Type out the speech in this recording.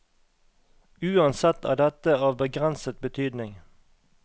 Uansett er dette av begrenset betydning.